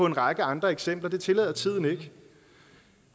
en række andre eksempler men det tillader tiden ikke